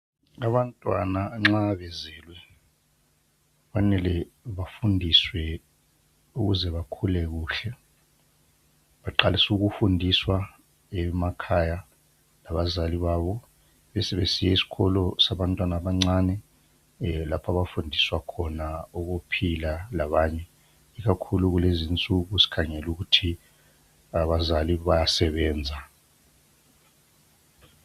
Abantwana nxa bezelwe kufanele bafundiswe ukuze bakhule kuhle baqalise ukufundiswa emakhaya ngabazali babo besebesiya esikolo sabantwana abancani lapho abafundiswa khona ukuphila labanye ikakhulu kulezi insuku sikhangele ukuthi abazali bayasebenza